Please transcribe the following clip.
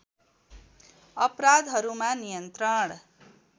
अपराधहरूमा नियन्त्रण